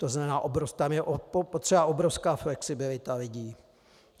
To znamená tam je potřeba obrovská flexibilita lidí.